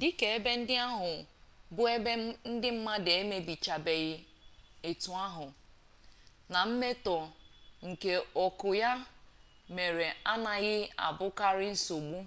dika ebe ndị ahụ bụ ebe ndị mmadụ ebichabeghị etu ahụ na mmetọ nke ọkụ ya mere anaghị abụkarị nsogbu